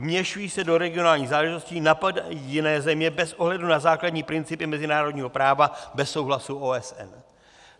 Vměšují se do regionálních záležitostí, napadají jiné země bez ohledu na základní principy mezinárodního práva, bez souhlasu OSN.